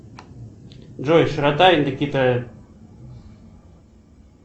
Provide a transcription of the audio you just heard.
джой широта индокитая